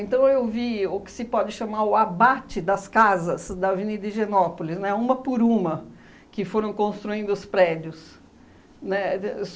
eu vi o que se pode chamar o abate das casas da Avenida Higienópolis, né, uma por uma, que foram construindo os prédios, né? De